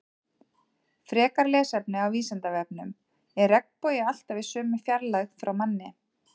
Frekara lesefni á Vísindavefnum: Er regnbogi alltaf í sömu fjarlægð frá manni?